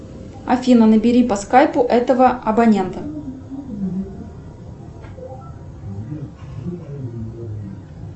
афина набери по скайпу этого абонента